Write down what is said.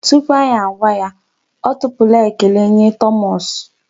Tupu anyị agwa ya, ọ tụpụla ekele nye Thomas.